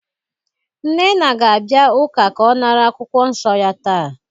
Nnenna ga-abia uka ka o nara akwukwo nso ya taa